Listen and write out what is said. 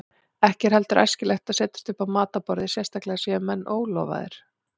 Ekki er heldur æskilegt að setjast upp á matarborðið, sérstaklega séu menn ólofaðir.